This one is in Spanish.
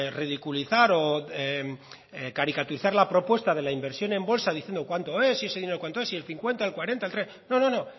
ridiculizar o caricaturizar la propuesta de la inversión en bolsa diciendo cuánto es y ese dinero cuánto es si el cincuenta el cuarenta el treinta no no